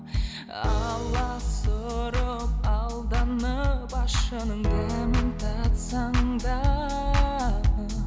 аласұрып алданып ащының дәмін татсаң да